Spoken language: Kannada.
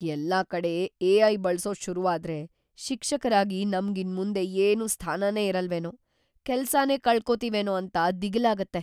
‌ಎಲ್ಲ ಕಡೆ ಎ.ಐ. ಬಳ್ಸೋದ್‌ ಶುರುವಾದ್ರೆ ಶಿಕ್ಷಕರಾಗಿ ನಮ್ಗ್‌ ಇನ್ಮುಂದೆ ಏನೂ ಸ್ಥಾನನೇ ಇರಲ್ವೇನೋ, ಕೆಲ್ಸನೇ ಕಳ್ಕೊತಿವೇನೋ ಅಂತ ದಿಗಿಲಾಗತ್ತೆ.